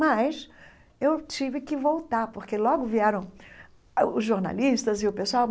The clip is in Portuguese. Mas eu tive que voltar, porque logo vieram os jornalistas e o pessoal.